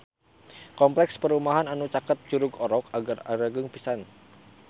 Kompleks perumahan anu caket Curug Orok agreng pisan